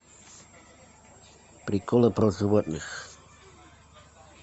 приколы про животных